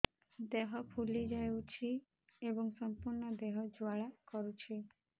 ଦେହ ଫୁଲି ଯାଉଛି ଏବଂ ସମ୍ପୂର୍ଣ୍ଣ ଦେହ ଜ୍ୱାଳା କରୁଛି